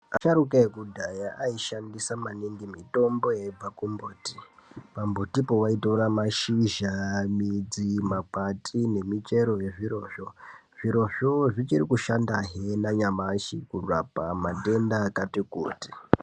Asharuka ekudhaya aishandisa maningi mitomo yeibva ku mbiti pa mbuti po wai tora mashizha, midzi, makwati ne michero ye zviro zvo zviro zvo zvichiri kushanda he na nyamashi kurapa matenda akati kuti.